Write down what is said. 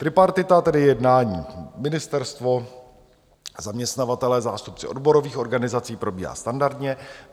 Tripartita, tedy jednání ministerstvo, zaměstnavatelé, zástupci odborových organizací, probíhá standardně.